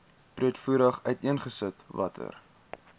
breedvoerig uiteengesit watter